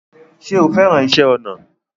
Ṣé o fẹ́ràn iṣẹ́ ọnà?